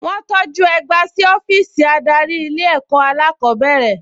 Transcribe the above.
Wọ́n tọjú ẹgba sí ọ́fíìsì adarí ilé ẹ̀kọ́ alákọ̀ọ́bẹ̀rẹ̀